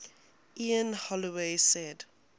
ian holloway said